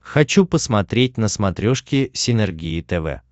хочу посмотреть на смотрешке синергия тв